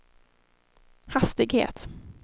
hastighet